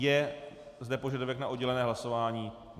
Je zde požadavek na oddělené hlasování?